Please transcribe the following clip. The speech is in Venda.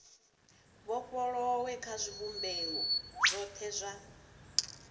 vhofholowe kha zwivhumbeo zwothe zwa